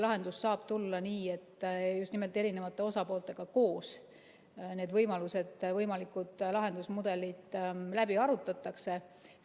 Lahendus saab tulla nii, et just nimelt eri osapooltega koos need võimalused ja võimalikud lahendusmudelid arutatakse läbi.